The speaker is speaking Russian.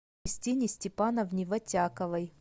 кристине степановне вотяковой